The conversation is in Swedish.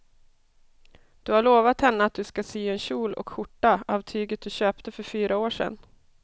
Du har lovat henne att du ska sy en kjol och skjorta av tyget du köpte för fyra år sedan.